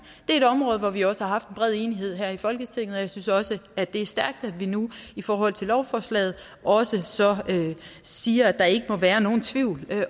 er et område hvor vi også har haft en bred enighed her i folketinget og jeg synes også at det er stærkt at vi nu i forhold til lovforslaget også så siger at der ikke må være nogen tvivl